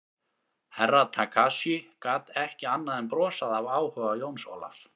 Herra Takashi gat ekki annað en brosað af áhuga Jóns Ólafs.